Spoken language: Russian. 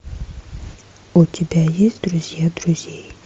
у тебя есть друзья друзей